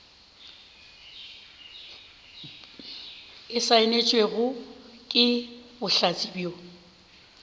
e saenetšwego ke bohlatse bjo